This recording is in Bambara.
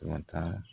Dɔn tan